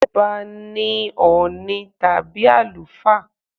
Ṣé ọba ní Ọ̀ọ̀ni tàbí àlùfáà?